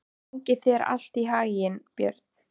Gangi þér allt í haginn, Björn.